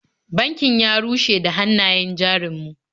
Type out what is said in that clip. Bankin ya rushe da hannayen jarin mu.